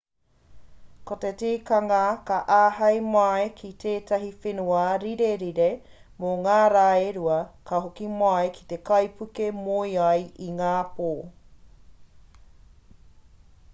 ko te tikanga ka āhei mai ki tēnei whenua rirerire mō ngā rā e rua ka hoki mai ki te kaipuke moe ai i ngā pō